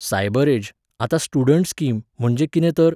cyberage, आतां student scheme, म्हणजे कितें तर,